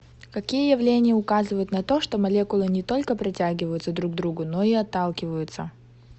какие явления указывают на то что молекулы не только притягиваются друг к другу но и отталкиваются